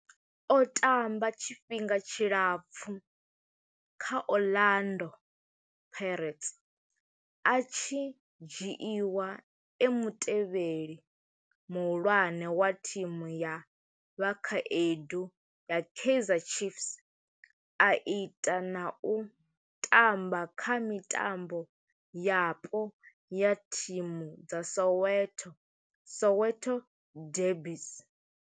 O tamba tshifhinga tshilapfhu kha Orlando Pirates, a tshi dzhiiwa e mutevheli muhulwane wa thimu ya vhakhaedu ya Kaizer Chiefs, a ita na u tamba kha mitambo yapo ya thimu dza Soweto Soweto derbies.